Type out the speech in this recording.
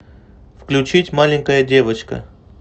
включить маленькая девочка